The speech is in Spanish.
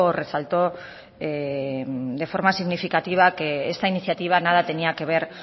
resaltó de forma significativa que esta iniciativa nada tenía que ver